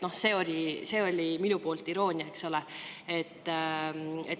See oli iroonia, eks ole.